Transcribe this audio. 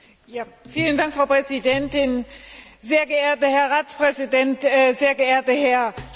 Frau Präsidentin, sehr geehrter Herr Ratspräsident, sehr geehrter Herr Špidla!